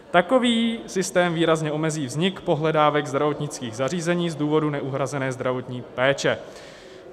Takový systém výrazně omezí vznik pohledávek zdravotnických zařízení z důvodu neuhrazené zdravotní péče.